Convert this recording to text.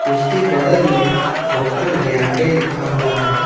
उसके बगल में होटल रयांदे लिखा हुआ है।